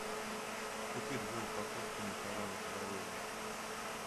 купи две упаковки макарон барилла